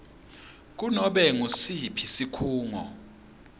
kunobe ngusiphi sikhungo